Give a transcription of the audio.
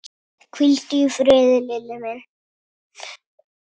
Hvíldu í friði, Lilli minn.